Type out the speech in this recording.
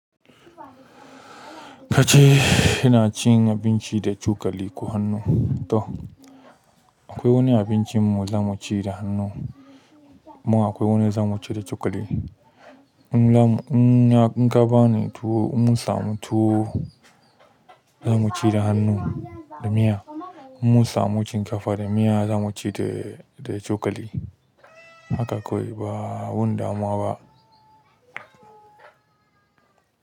Kace ina cin abinci da cokali ko hannu. To akwai wani abincin mu zamu ci da hannu mu akwai wani zamu ci da cokali. Inka bamu tuwa in munsamu tuwa zamu ci da hannu da miya. Mun samu shinkafa da miya za mu ci da da cokali. Haka kawai ba wani damuwa ba.